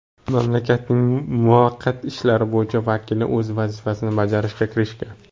Mamlakatning muvaqqat ishlar bo‘yicha vakili o‘z vazifasini bajarishga kirishgan.